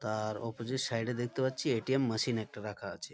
তা-আ-র opposite side -এ দেখতে পাচ্ছি এ.টি.এম মেশিন একটা রাখা আছে।